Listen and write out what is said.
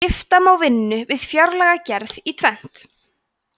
skipta má vinnu við fjárlagagerð í tvennt